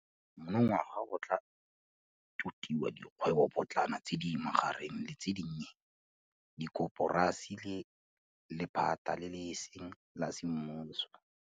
Monongwaga go tla totiwa dikgwebopotlana, tse di magareng le tse dinnye, dikoporasi le lephata le e seng la semmuso.